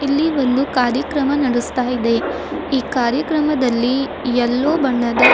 ಇಲ್ಲಿ ಒಂದು ಕಾರ್ಯಕ್ರಮ ನಡೆಸ್ತಾ ಇದೆ ಈ ಕಾರ್ಯಕ್ರಮದಲ್ಲಿ ಎಲ್ಲೋ ಬಣ್ಣದ--